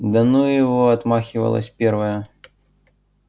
да ну его отмахивалась первая